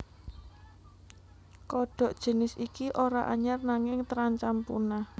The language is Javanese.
Kodhok jinis iki ora anyar nanging terancam punah